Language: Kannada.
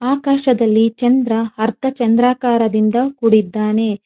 ಆಕಾಶದಲ್ಲಿ ಚಂದ್ರ ಅರ್ಥ ಚಂದ್ರಾಕಾರದಿಂದ ಕುಡಿದ್ದಾನೆ.